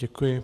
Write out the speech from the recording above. Děkuji.